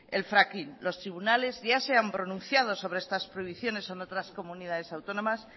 el fracking los tribunales ya se han pronunciado sobre estas prohibiciones en otras comunidades autónomas